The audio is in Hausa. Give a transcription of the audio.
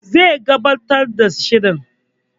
Zai gabatar da shirin